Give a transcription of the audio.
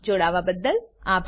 અમને જોડાવાબદ્દલ આભાર